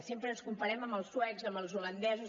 sempre ens comparem amb els suecs amb els holandesos